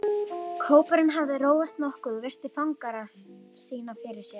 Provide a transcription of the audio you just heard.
Kópurinn hafði róast nokkuð og virti fangara sína fyrir sér.